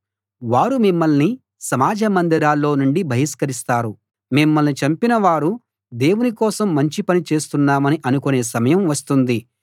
వారు మిమ్మల్ని సమాజ మందిరాల్లో నుండి బహిష్కరిస్తారు మిమ్మల్ని చంపినవారు దేవుని కోసం మంచి పని చేస్తున్నామని అనుకునే సమయం వస్తుంది